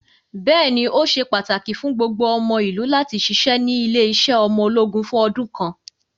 Bẹ́ẹ̀ni, ó se pàtàkì fún gbogbo ọmọ ìlú láti ṣiṣẹ́ ní ilé-iṣẹ́ ọmọ ológun fún ọdún kan.